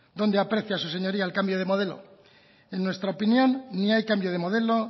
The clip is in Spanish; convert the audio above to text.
dónde aprecia su señoría el cambio de modelo en nuestra opinión ni hay cambio de modelo